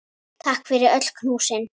Takk fyrir öll knúsin.